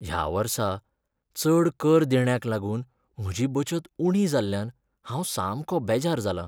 ह्या वर्सा चड कर देण्याक लागून म्हजी बचत उणी जाल्ल्यान हांव सामको बेजार जालां.